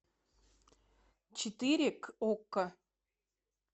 четыре к окко